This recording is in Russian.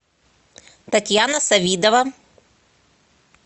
татьяна савидова